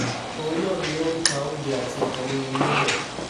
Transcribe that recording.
òun náà sì ni ó ń ta oúnjẹ àti nǹkan mímu níbẹ̀